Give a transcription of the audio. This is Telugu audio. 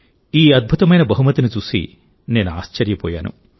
ఈ అద్భుతమైన బహుమతిని చూసి నేను ఆశ్చర్యపోయాను